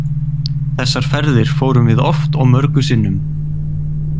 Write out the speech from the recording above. Þessar ferðir fórum við oft og mörgum sinnum.